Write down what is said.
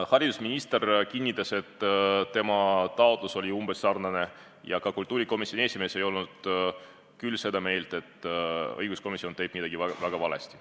Haridusminister kinnitas, et tema taotlus oli umbes sarnane, ja ka kultuurikomisjoni esimees ei olnud seda meelt, et õiguskomisjon teeks midagi väga valesti.